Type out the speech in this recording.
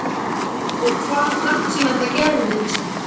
Og hvað er langt síðan það gerðist?